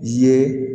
Ye